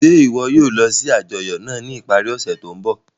Ṣe iwọ yoo lọ si ajọyọ naa ni ipari ose to nbọ?